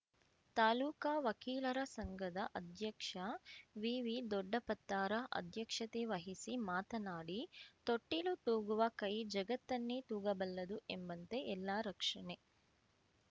ತಾಲೂಕಾ ವಕೀಲರ ಸಂಘದ ಅಧ್ಯಕ್ಷ ವಿವಿದೊಡ್ಡಪತ್ತಾರ ಅಧ್ಯಕ್ಷತೆ ವಹಿಸಿ ಮಾತನಾಡಿ ತೊಟ್ಟಿಲು ತೂಗುವ ಕೈ ಜಗತ್ತನ್ನೇ ತೂಗಬಲ್ಲದು ಎಂಬಂತೆ ಎಲ್ಲ ರಕ್ಷಣೆ